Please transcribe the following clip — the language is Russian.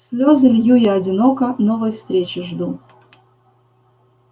слёзы лью я одиноко новой встречи жду